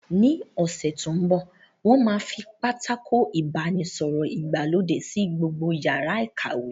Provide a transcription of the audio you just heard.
Ní ọ̀sẹ̀ tó mbọ̀, wón máa fi pátákó ìbánisọ̀rọ̀ ìgbàlódé sí gbogbo yàrá ìkàwé